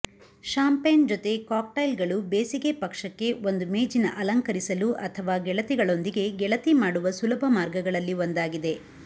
champagne ಜೊತೆ ಕಾಕ್ಟೈಲ್ಗಳು ಬೇಸಿಗೆ ಪಕ್ಷಕ್ಕೆ ಒಂದು ಮೇಜಿನ ಅಲಂಕರಿಸಲು ಅಥವಾ ಗೆಳತಿಗಳೊಂದಿಗೆ ಗೆಳತಿ ಮಾಡುವ ಸುಲಭ ಮಾರ್ಗಗಳಲ್ಲಿ ಒಂದಾಗಿದೆ